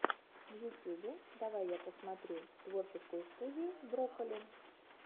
в ютюбе давай я посмотрю творческую студию брокколи